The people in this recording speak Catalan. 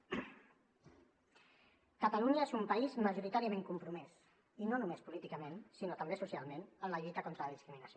catalunya és un país majoritàriament compromès i no només políticament sinó també socialment en la lluita contra la discriminació